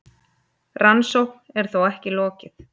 Rannsókn er þó ekki lokið.